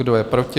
Kdo je proti?